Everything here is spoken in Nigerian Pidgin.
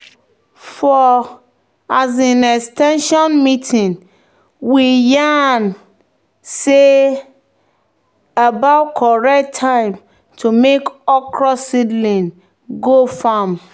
"for um ex ten sion meeting we yarn about correct time to move okra seedling go farm."